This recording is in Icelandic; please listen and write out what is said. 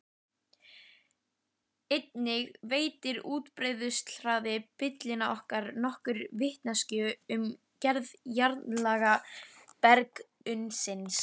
Einnig veitir útbreiðsluhraði bylgnanna nokkra vitneskju um gerð jarðlaga berggrunnsins.